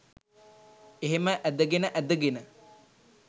එහෙම ඇදගෙන ඇදගෙන